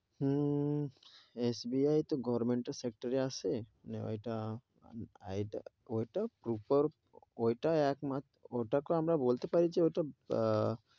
হম SBI তো গভর্মেন্টের sector এ আসে, ওইটা এইটা, ওইটা proper ওইটা একমা~ওটা কে আমরা বলতে পারি যে, ও তো আহ